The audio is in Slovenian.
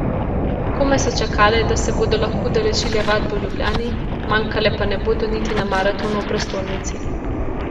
Komaj so čakale, da se bodo lahko udeležile vadbe v Ljubljani, manjkale pa ne bodo niti na maratonu v prestolnici.